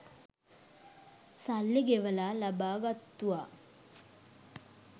සල්ලි ගෙවලා ලබා ගත්තුවා.